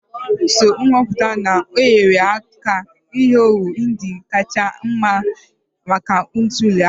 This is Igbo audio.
Usoro nhọpụta na-enyere aka ịhọrọ ndị kacha mma maka ntuli aka